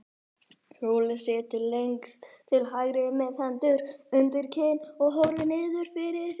Skúli situr lengst til hægri með hendur undir kinn og horfir niður fyrir sig.